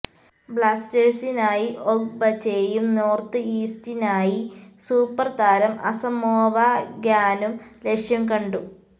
ബ്ലാസ്റ്റേഴ്സിനായി ഒഗ്ബച്ചെയും നോര്ത്ത് ഈസ്റ്റിനായി സൂപ്പര് താരം അസമോവ ഗ്യാനും ലക്ഷ്യം കണ്ടു